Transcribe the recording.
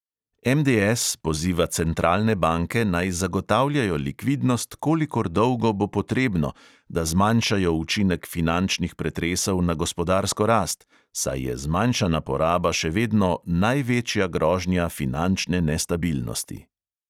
MDS poziva centralne banke, naj zagotavljajo likvidnost, "kolikor dolgo bo potrebno", da zmanjšajo učinek finančnih pretresov na gospodarsko rast, saj je zmanjšana poraba še vedno "največja grožnja" finančne nestabilnosti.